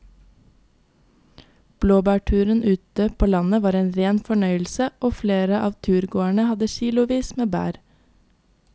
Blåbærturen ute på landet var en rein fornøyelse og flere av turgåerene hadde kilosvis med bær.